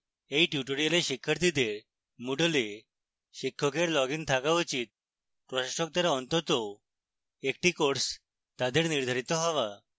এই tutorial শিক্ষার্থীদের moodle a শিক্ষকের লগইন থাকা উচিত